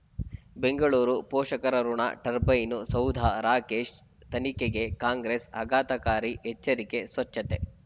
ಬೆಂಗಳೂರು ಪೋಷಕರಋಣ ಟರ್ಬೈನು ಸೌಧ ರಾಕೇಶ್ ತನಿಖೆಗೆ ಕಾಂಗ್ರೆಸ್ ಆಘಾತಕಾರಿ ಎಚ್ಚರಿಕೆ ಸ್ವಚ್ಛತೆ